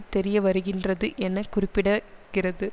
தெரிய வருகின்றது என கூறப்பிடகிறது